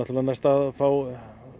næst að fá